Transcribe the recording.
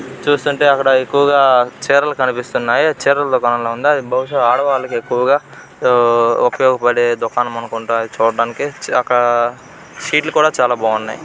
చూస్తుంటే అక్కడ ఎక్కువగా చీరలు కనిపిస్తున్నాయి. అది చీరల దుకాణంలా ఉంది. అది బహుశ ఆడవాళ్ళకి ఎక్కువగా ఉపయోగపడే దుకాణం అనుకుంటా. అది చూడడానికి అక్కడ చీరలు కూడా చాలా బాగున్నాయి.